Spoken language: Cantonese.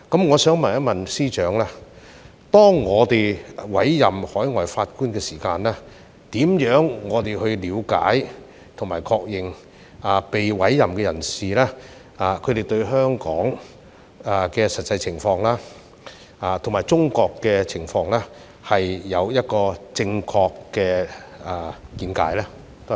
我想問司長，當我們委任海外法官時，如何了解及確認被委任的人士對香港及中國的實際情況有正確的見解呢？